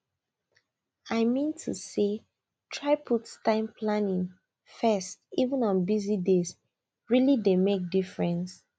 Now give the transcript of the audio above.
i mean to say try put time planning first even on busy dayse really dey make difference